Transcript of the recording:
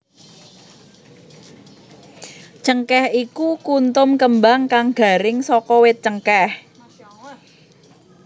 Cengkèh iku kuntum kembang kang garing saka wit cengkèh